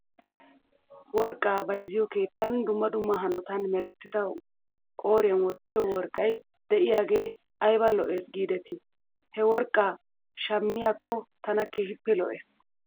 Worqqaa bayzziyoo keettan dumma dumma hanotan merettida qooriyan aattiyoo worqqay de'iyaagee ayba lo'es giidetii? He worqqaa shammiyaakko tana keehippe lo'es.